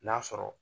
N'a sɔrɔ